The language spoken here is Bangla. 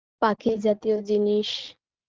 পাখি জাতীয় জিনিস